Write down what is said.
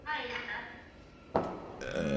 ah yes ma'am